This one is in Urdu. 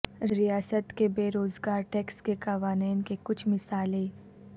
ریاست کی بے روزگار ٹیکس کے قوانین کے کچھ مثالیں